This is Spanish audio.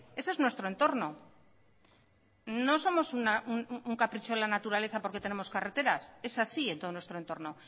eso es nuestro entorno no somos un capricho de la naturaleza porque tenemos carreteras es así en todo nuestro entorno